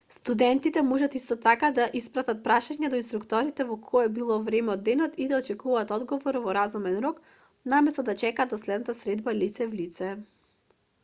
студентите можат исто така да испратат прашања до инструкторите во кое било време од денот и да очекуваат одговор во разумен рок наместо да чекаат до следната средба лице в лице